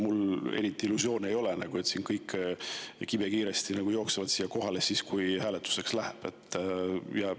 Mul eriti illusioone ei ole, et kõik kibekiiresti jooksevad siia kohale, kui hääletuseks läheb.